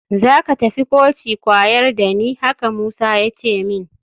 Za ka tafi koci kwayar da ni, haka Musa ya ce min